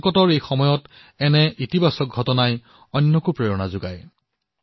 সংকটৰ এই সময়ছোৱাত এই ধনাত্মক ঘটনাই আপোনাক প্ৰেৰণা প্ৰদান কৰিব